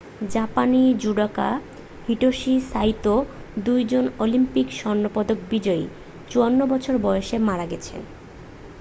জাপানি judoka Hitoshi Saito 2জন Olympic স্বর্ণপদক বিজয়ী 54 বছর বয়সে মারা গেছেন